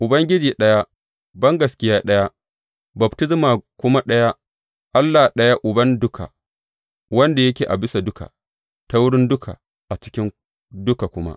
Ubangiji ɗaya, bangaskiya ɗaya, baftisma kuma ɗaya, Allah ɗaya Uban duka, wanda yake a bisa duka, ta wurin duka, a cikin duka kuma.